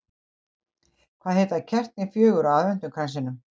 Hvað heita kertin fjögur á aðventukransinum?